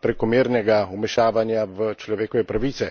prekomernega vmešavanja v človekove pravice.